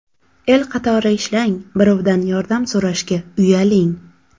El qatori ishlang, birovdan yordam so‘rashga uyaling.